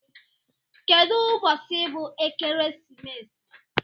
Kedu ubosi bu ekeresimesi?